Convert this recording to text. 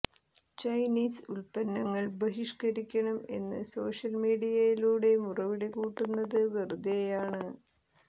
Chinese ഉൽപ്പന്നങ്ങൾ ബഹിഷ്ക്കരിക്കണം എന്ന് സോഷ്യൽ മീഡിയയിലൂടെ മുറവിളി കൂട്ടുന്നത് വെറുതെയാണ്